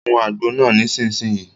Mu àgbo náà nísìsiyìí!